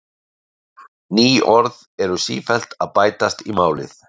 Ný orð eru sífellt að bætast í málið.